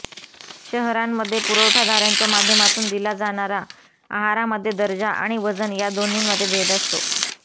शहरांमध्ये पुरवठादारांच्या माध्यमातून दिला जाणारा आहारामध्ये दर्जा आणि वजन या दोन्हीमध्ये भेद असतो